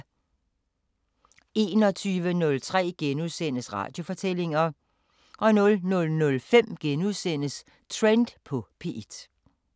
21:03: Radiofortællinger * 00:05: Trend på P1 *